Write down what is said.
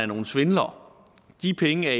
nogle svindlere de penge